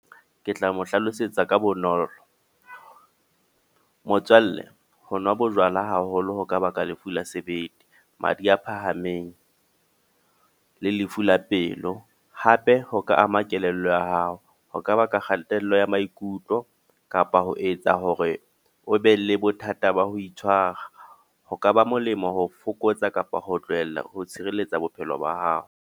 Ke tla mo hlalosetsa ka bonolo. Motswalle, ho nwa bojwala haholo ho ka baka lefu la sebete, madi a phahameng le lefu la pelo. Hape ho ho ka ama kelello ya hao. Ho ka baka kgatello ya maikutlo, kapa ho etsa hore o be le bothata ba ho itshwara. Ho ka ba molemo ho fokotsa kapa ho tlohella. Ho tshireletsa bophelo ba hao.